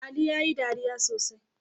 Ali yayi dariya sosai